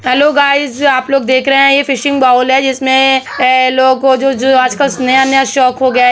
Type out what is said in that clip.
Hello guys ये आपलोग देख रहे है ये फिशिंग बॉल है जिसमे लोगो को आजकल नया नया शोख हो गया हैं।